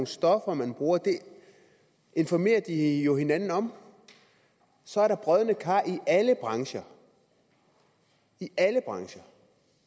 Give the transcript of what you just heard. stoffer man bruger det informerer de jo hinanden om så er der brodne kar i alle brancher i alle brancher